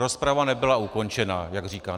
Rozprava nebyla ukončena, jak říká.